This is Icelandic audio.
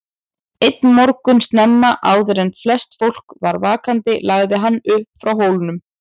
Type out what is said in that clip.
Einn morgun snemma, áður en flest fólk var vaknaði lagði hann upp frá Hólum.